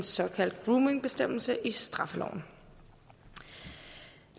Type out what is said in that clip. såkaldt groomingbestemmelse i straffeloven